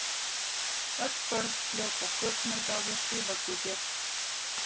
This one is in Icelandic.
Öll börn hljóta sköpunargáfu í vöggugjöf.